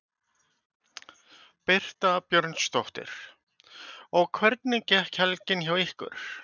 Birta Björnsdóttir: Og hvernig gekk helgin hjá ykkur?